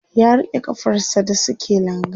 ya rike kafar sa da suke langa